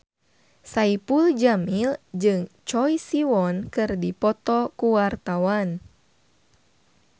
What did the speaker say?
Saipul Jamil jeung Choi Siwon keur dipoto ku wartawan